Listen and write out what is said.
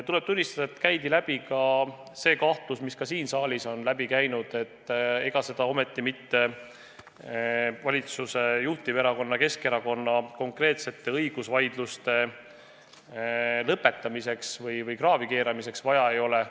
Tuleb tunnistada, et käis läbi ka see kahtlus, mis ka siin saalis on kõlanud: et ega seda ometi mitte valitsuse juhtiverakonna Keskerakonna konkreetsete õigusvaidluste lõpetamiseks või kraavi keeramiseks vaja ei ole.